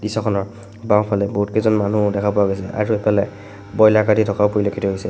দৃশ্যখনৰ বাওঁফালে বহুত কেইজন মানুহো দেখা পোৱা গৈছে আৰু এফালে বইলাৰ কাটি থকাও পৰিলক্ষিত হৈছে।